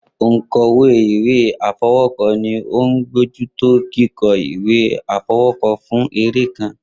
Onkọwe iwe afọwọkọ ni o ni abojuto kikọ iwe afọwọkọ fun ere kan.